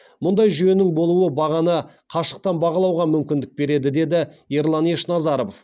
мұндай жүйенің болуы бағаны қашықтан бақылауға мүмкіндік береді деді ерлан ешназаров